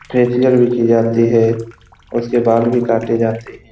Facial भी की जाते है। उसके बाल भी काटे जाते है।